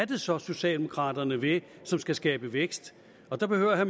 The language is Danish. det så er socialdemokraterne vil som skal skabe vækst der behøver